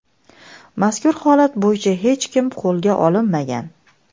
Mazkur holat bo‘yicha hech kim qo‘lga olinmagan.